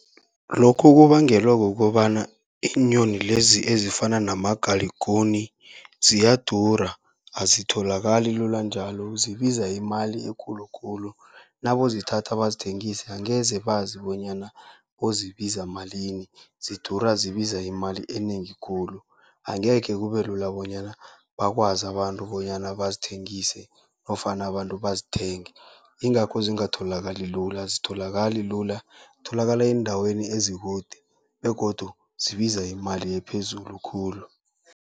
Lokho kubangelwa kukobana iinyoni lezi ezifana namagalikuni, ziyadura azisatholakali lula njalo zibiza imali ekulu khulu, nabayozithatha bazithengise angeze bazi bonyana bayozibiza malini, zidura zibiza imali enengi khulu. Angekhe kube lula bonyana bakwazi abantu bonyana bazithengise nofana abantu bazithenge. Ingakho zingatholakali lula azitholakali lula, tholakala eendaweni ezikude begodu zibiza imali ephezulu khulu.